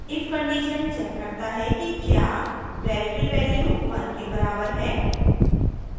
if condition checks करता है कि क्या variable value 1 के बराबर है